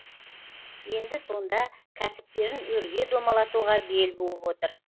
енді сонда кәсіптерін өрге домалатуға бел буып отыр